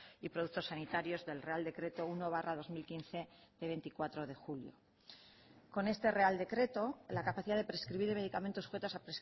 y productos sanitarios del real decreto uno barra dos mil quince de veinticuatro de julio con este real decreto la capacidad de prescribir medicamentos sujetos a